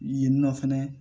Yen nɔ fɛnɛ